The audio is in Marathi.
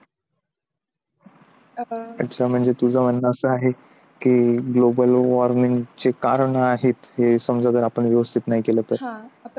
अच्छा म्हणजे तुझं म्हणणं असं आहे की global warming चे कारण आहेत, हे समजा जर आपण व्यवस्थित नाही केला तर